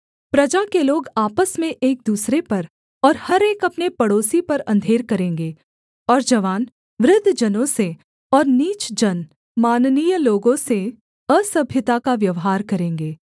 प्रजा के लोग आपस में एक दूसरे पर और हर एक अपने पड़ोसी पर अंधेर करेंगे और जवान वृद्ध जनों से और नीच जन माननीय लोगों से असभ्यता का व्यवहार करेंगे